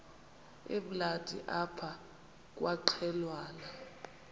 emnandi apha kwaqhelwana